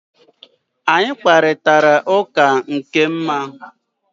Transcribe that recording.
Anyị kparịtara ụka nke ma